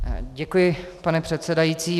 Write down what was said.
Děkuji, pane předsedající.